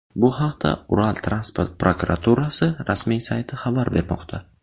Bu haqda Ural transport prokuraturasi rasmiy sayti xabar bermoqda .